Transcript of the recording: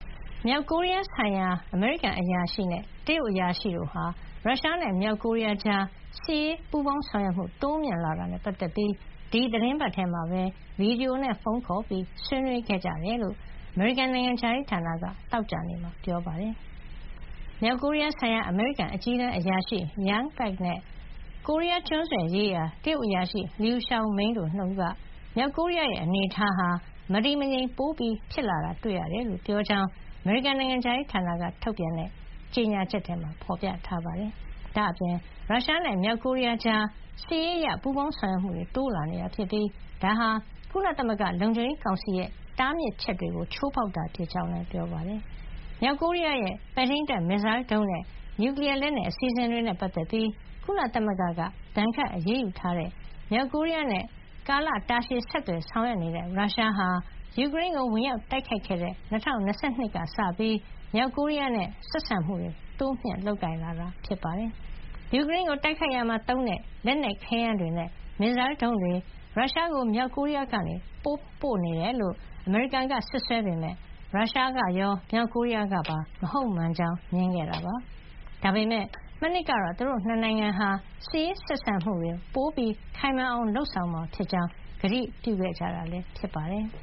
မြောက်ကိုရီးယားဆိုင်ရာ အမေရိကန်အရာရှိနဲ့ တရုတ်အရာရှိတို့ဟာ ရုရှားနဲ့ မြောက်ကိုရီးယားတို့ကြား စစ်ရေးပူးပေါင်းဆောင်ရွက်မှု တိုးမြှင့် လာတာနဲ့ပတ်သက်လို့ ဒီသီတင်းပတ်ထဲမှာပဲ ဗီဒီယိုနဲ့ ဖုံးခေါ်ပြီး ဆွေးနွေးခဲ့ကြတယ်လို့ အမေရိကန်နိုင်ငံခြားရေးဌာနက သောကြာနေ့မှာ ပြောပါတယ်။ မြောက်ကိုရီယားဆိုင်ရာ အမေရိကန် အကြီးတန်းအရာရှိ Jung Pak ဂျွန်းပတ်ခ်နဲ့ ကိုရီးယား ကျွန်းဆွယ်ရေးရာ တရုတ်အရာရှိ လျူရှောင်မိန်းတို့ ၂ ဦးက မြောက်ကိုရီးယားရဲ့ အနေအထားဟာ မတည်မငြိမ် ပိုဖြစ်လာတာ တွေ့ရတယ်လို့ ပြောကြောင်း အမေရိကန်နိုင်ငံခြားရေးဌာနက ထုတ်ပြန်တဲ့ ကြေညာချက်မှာ ဖေါ်ပြထားပါတယ်။ ဒါ့အပြင် ရုရှားနဲ့ မြောက်ကိုရီးယားကြား စစ်ရေးအရ ပူးပေါင်းဆောင်ရွက်မှုတွေ တိုးလာနေတာဖြစ်ပြီး ဒါဟာ ကုလသမဂ္ဂ လုံခြုံရေးကောင်စီရဲ့ တားမြစ်ချက်တွေကို ချိုးဖေါက်တာ ဖြစ်ကြောင်းလည်း ပြောပါတယ်။ မြောက်ကိုရီးယားရဲ့ ပဲ့ထိန်းတပ် မစ်ဇိုင်းဒုံးနဲ့ နျူကလီယား လက်နက်အစီစဉ်တွေနဲ့ ပတ်သက်ပြီး ကုလသမဂ္ဂက ဒဏ်ခတ်အရေးယူထားတဲ့ မြောက်ကိုရီးယားနဲ့ ကာလတာရှည် ဆက်သွယ်ဆောင်ရွက်နေတဲ့ ရုရှားဟာ ယူကရိန်းကို ဝင်ရောက်တိုက်ခိုက်ခဲ့တဲ့ ၂၀၂၂ ကစပြီး မြောက်ကိုရီးယားနဲ့ ဆက်ဆံမှု တိုးလုပ်လာတာ ဖြစ်ပါတယ်။ ယူကရိန်းကို တိုက်ခိုက်ရာမှာသုံးတဲ့ လက်နက်ခဲယမ်းတွေနဲ့ မစ်ဇိုင်းဒုံးတွေ ရုရှားကို မြောက်ကိုရီးယားက ပေးပို့နေတယ်လို့ အမေရိကန်က စွပ်စွဲပေမယ့် ရုရှားကရော မြောက်ကိုရီးယားကပါ မဟုတ်မှန်ကြောင်း ငြင်းခဲ့တာပါ။ ဒါပေမယ့် မနှစ်ကတော့ သူတို့ ၂ နိုင်ငံအနေနဲ့ စစ်ရေး ဆက်ဆံမှု ခိုင်မာအောင် လုပ်ဆောင်မှာဖြစ်ကြောင်း ကတိပြုခဲ့ကြတာ ဖြစ်ပါတယ်။